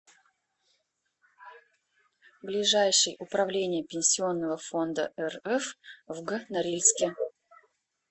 ближайший управление пенсионного фонда рф в г норильске